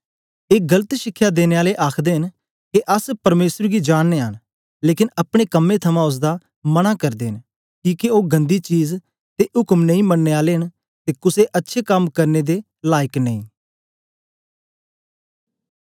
ए गलत शिखया देने आले आखदे न के अस परमेसर गी जाननयां न लेकन अपने कम्में थमां ओसदा मनां करदे न किके ओ गन्दी चीज ते उक्म नेई मननें आले न ते कुसे अच्छे कम करने दे लायक नेई